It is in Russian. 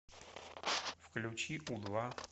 включи у два